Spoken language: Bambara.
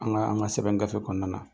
An ka an ka sɛbɛn gafe kɔnɔna na